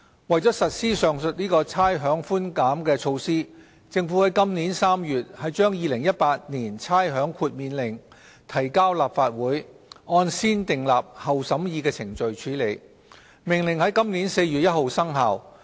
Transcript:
為了實施上述的差餉寬減措施，政府於今年3月把《2018年差餉令》提交立法會，按先訂立後審議的程序處理，《命令》在今年4月1日生效。